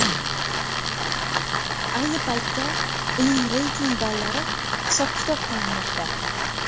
Ayni paytda uning reyting ballari hisob-kitob qilinmoqda.